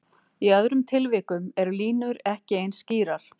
Í öðrum tilvikum eru línur ekki eins skýrar.